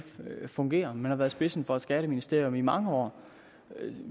fungerer man har stået i spidsen for et skatteministerium i mange år